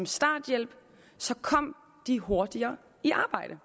starthjælp kom de hurtigere i arbejde